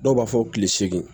Dɔw b'a fɔ kile segin